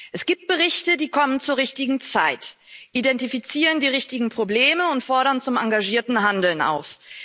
Es gibt Berichte, die kommen zur richtigen Zeit, identifizieren die richtigen Probleme und fordern zum engagierten Handeln auf.